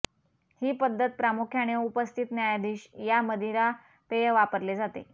ही पद्धत प्रामुख्याने उपस्थित न्यायाधीश या मदिरा पेय वापरले जाते